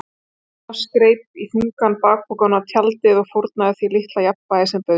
Thomas greip í þungan bakpokann og tjaldið og fórnaði því litla jafnvægi sem bauðst.